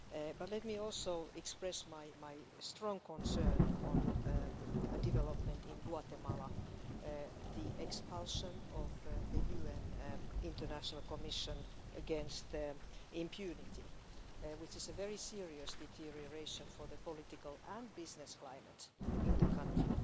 But let me also express my strong concern on developments in Guatemala and the expulsion of the UN International Commission against impunity, which is a very serious deterioration of the political and business climate in the country.